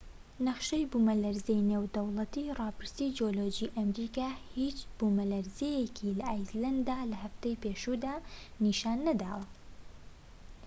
نەخشەی بوومەلەرزەی نێودەوڵەتی ڕاپرسی جیۆلۆجی ئەمریکا هیچ بوومەلەرزەیەکی لە ئایسلەندە لە هەفتەی پێشووتر نیشان نەدا